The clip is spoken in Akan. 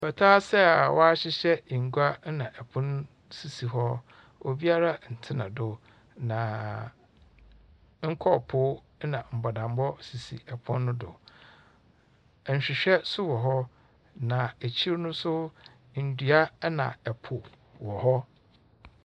Pata ase a wahyehyɛ ngua ɛna ɛpon sisi hɔ. Obiara ntsena do. Na nkɔɔpoo ɛna mbɔdambɔ sisi ɛpon no do. Ɛnhwehwɛ so wɔ hɔ. Na ekyir no so ndua ɛna ɛpo wɔ hɔ.